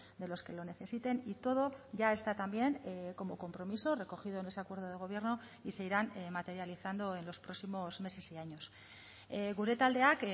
de los que lo necesiten y todo ya está también como compromiso recogido en ese acuerdo de gobierno y se irán materializando en los próximos meses y años gure taldeak